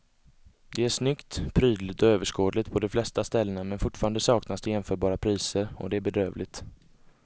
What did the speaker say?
Det är snyggt, prydligt och överskådligt på de flesta ställena men fortfarande saknas det ofta jämförpriser och det är bedrövligt.